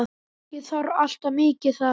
Ekki þarf alltaf mikið til.